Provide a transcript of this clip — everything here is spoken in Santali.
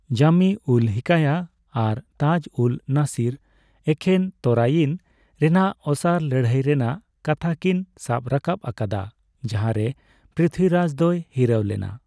ᱡᱟᱢᱤᱼᱩᱞᱼᱦᱤᱠᱟᱭᱟ ᱟᱨ ᱛᱟᱡᱼᱩᱞᱼᱢᱟᱥᱤᱨ ᱮᱠᱷᱮᱱ ᱛᱚᱨᱟᱭᱤᱱ ᱨᱮᱱᱟᱜᱫ ᱚᱥᱟᱨ ᱞᱟᱹᱲᱦᱟᱹᱭ ᱨᱮᱱᱟᱜ ᱠᱟᱛᱷᱟ ᱠᱤᱱ ᱥᱟᱵ ᱨᱟᱠᱟᱵ ᱟᱠᱟᱫᱟ ᱡᱟᱦᱟ ᱨᱮ ᱯᱨᱤᱛᱷᱵᱤ ᱨᱟᱡᱽ ᱫᱚᱭ ᱦᱤᱨᱟᱹᱣ ᱞᱮᱱᱟ ᱾